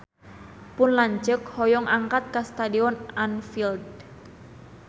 Pun lanceuk hoyong angkat ka Stadion Anfield